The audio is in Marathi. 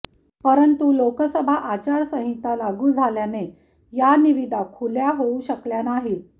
परंतु लोकसभा आचारसंहिता लागू झाल्याने या निविदा खुल्या होऊ शकल्या नाहीत